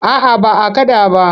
A'a ba a kaɗa ba.